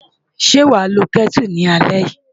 Ṣé wàá lo Kẹ́tù lálẹ́ yìí?